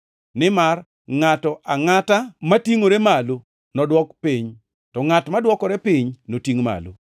Nimar ngʼato angʼata matingʼore malo nodwok piny, to ngʼat madwokore piny notingʼ malo.”